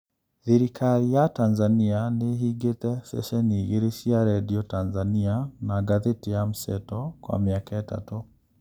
Thirikari ya Tanzania nĩĩhingĩte ceceni igĩrĩ cia radio Tanzania na ngathĩti ya Mseto kwa mĩaka ĩtatũ